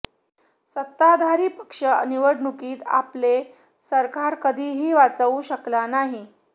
सत्ताधारी पक्ष निवडणुकीत आपले सरकार कधीही वाचवू शकला नाही